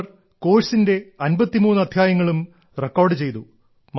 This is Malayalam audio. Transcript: അവർ കോഴ്സിന്റെ 53 അദ്ധ്യായങ്ങളും റെക്കോർഡ് ചെയ്തു